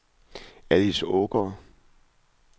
Alice Aagaard